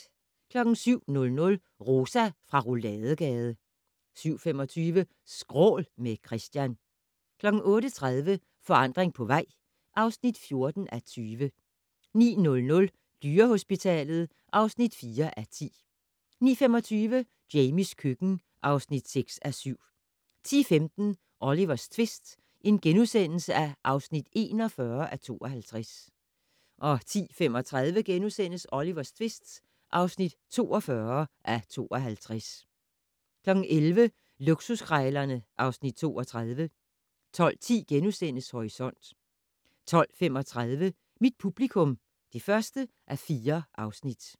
07:00: Rosa fra Rouladegade 07:25: Skrål - med Christian 08:30: Forandring på vej (14:20) 09:00: Dyrehospitalet (4:10) 09:25: Jamies køkken (6:7) 10:15: Olivers tvist (41:52)* 10:35: Olivers tvist (42:52)* 11:00: Luksuskrejlerne (Afs. 32) 12:10: Horisont * 12:35: Mit publikum (1:4)